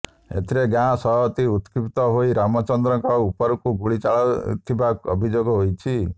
ଏଥିରେ ଗାଁ ସଭାପତି ଉତ୍କ୍ଷିପ୍ତ ହୋଇ ରାମଚନ୍ଦ୍ରଙ୍କ ଉପରକୁ ଗୁଳି ଚଳାଇଥିବା ଅଭିଯୋଗ ହୋଇଛି